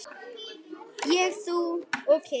Ég, þú og kisi.